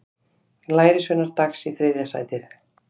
Lærisveinar Dags í þriðja sætið